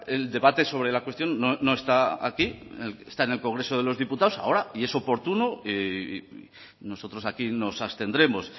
el debate sobre la cuestión no está aquí está en el congreso de los diputados ahora y es oportuno nosotros aquí nos abstendremos